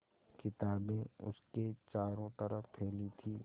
किताबें उसके चारों तरफ़ फैली थीं